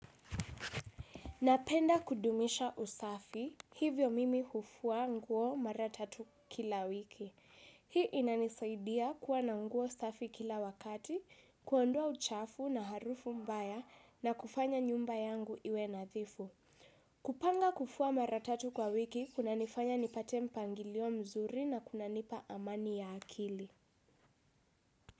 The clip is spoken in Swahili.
Napenda kudumisha usafi, hivyo mimi hufua nguo maratatu kila wiki. Hii inanisaidia kuwa nanguo usafi kila wakati, kuondoa uchafu na harufu mbaya na kufanya nyumba yangu iwe nadhifu. Kupanga kufua maratatu kwa wiki, kuna nifanya nipate mpangilio mzuri na kuna nipa amani ya akili.